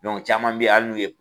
caman bɛ yan hali n'u ye